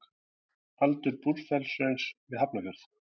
Aldur Búrfellshrauns við Hafnarfjörð.